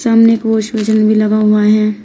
सामने एक wash basin भी लगा हुआ है।